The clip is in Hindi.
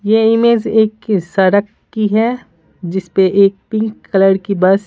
ये इमेज एक सड़क की है जिस पे एक पिंक कलर की बस --